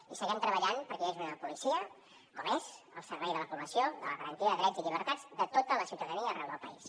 i seguirem treballant perquè hi hagi una policia com és al servei de la població i de la garantia de drets i llibertats de tota la ciutadania arreu del país